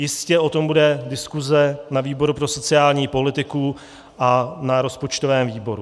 Jistě o tom bude diskuze na výboru pro sociální politiku a na rozpočtovém výboru.